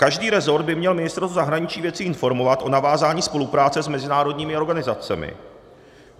Každý rezort by měl Ministerstvo zahraničních věcí informovat o navázání spolupráce s mezinárodními organizacemi.